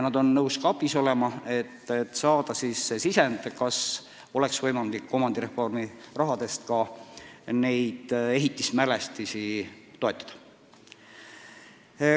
Nad on nõus abiks olema, et saada sisend, kas oleks võimalik omandireformi rahaga ka neid ehitismälestisi toetada.